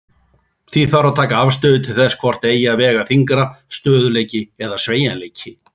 Því þarf að taka afstöðu til þess hvort eigi að vega þyngra, stöðugleiki eða sveigjanleiki.